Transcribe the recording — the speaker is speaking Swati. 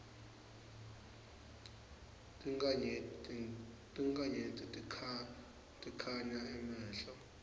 tinkhanyeti tikhanga emehlo